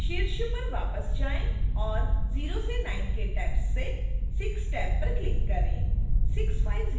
फिर शीर्ष पर वापस जाएँ और 0 से 9 के टैब्स से 6 टैब पर क्लिक करें